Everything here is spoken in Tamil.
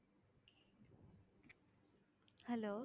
hello